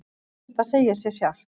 Það segir sig sjálft.